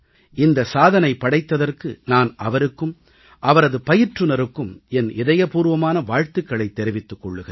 இந்த சாதனை படைத்ததற்கு நான் அவருக்கும் அவரது பயிற்றுனருக்கும் என் இதயபூர்வமான வாழ்த்துக்களைத் தெரிவித்துக் கொள்கிறேன்